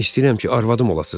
İstəyirəm ki, arvadım olasız.